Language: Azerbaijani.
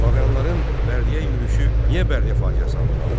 Slaviyalıların Bərdəyə yürüşü niyə Bərdə faciəsi adını aldı?